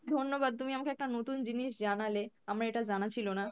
ধন্যবাদ তুমি আমাকে একটা নতুন জিনিস জানালে, আমার এটা জানা ছিলো না।